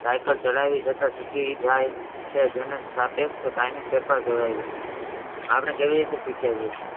Cycle ચલાવી જતા શીખી જાય છે. જેને સાપેક્ષ કાયમી સર્કલ કહેવાય છે. આપણે કેવી રીતે શીખીએ છી